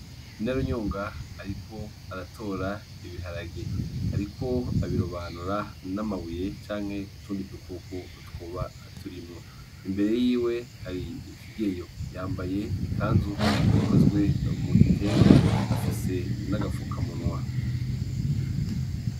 Inarunyonga ariko aratora ibiharage, ariko abirobanura n'amabuye canke utundi dukoko twoba turimwo, imbere yiwe hari ikigeyo. Yambaye ikanzu ikozwe mu gitenge afise n'agafukamunwa.